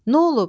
N'olub?